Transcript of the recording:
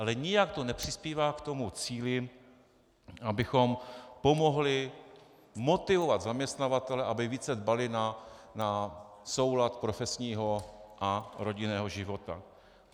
Ale nijak to nepřispívá k tomu cíli, abychom pomohli motivovat zaměstnavatele, aby více dbali na soulad profesního a rodinného života.